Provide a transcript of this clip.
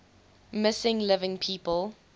missing living people